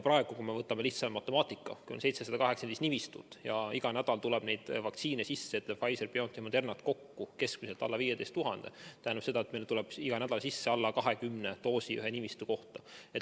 Teeme lihtsa matemaatika tehte: kui meil on 718 nimistut ja iga nädal tuleb Pfizer-BioNTechi ja Moderna vaktsiini sisse kokku keskmiselt alla 15 000 doosi, siis tähendab see seda, et meil tuleb iga nädal sisse alla 20 doosi ühe nimistu kohta.